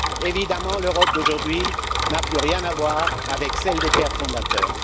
Évidemment, l'Europe d'aujourd'hui n'a plus rien à voir avec celle des pères fondateurs.